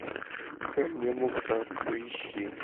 ко мне мухтар поищи